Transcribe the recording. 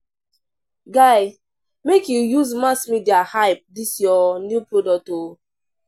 Guy, make you use mass media hype dis your new product o.